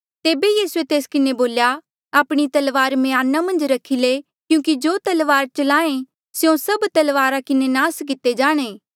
तेबे यीसूए तेस किन्हें बोल्या आपणी तलवार म्याना मन्झ रखी ले क्यूंकि जो तलवार चलाहें स्यों सभ तलवारा किन्हें नास किते जाणे